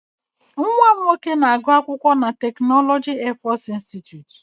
Nwa m nwoke na-agụ akwụkwọ na tekinọloji Airforce Institute.